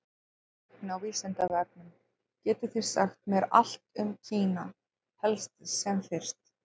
Tengt efni á Vísindavefnum: Getið þið sagt mér allt um Kína, helst sem fyrst?